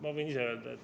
Ma võin ise öelda.